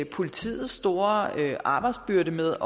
politiets store arbejdsbyrde med